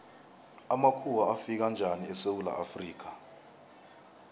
amakhuwa afika njani esewula afrika